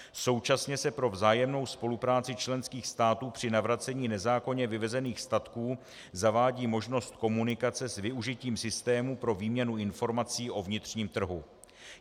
Současně se pro vzájemnou spolupráci členských států při navracení nezákonně vyvezených statků zavádí možnost komunikace s využitím systému pro výměnu informací o vnitřním trhu.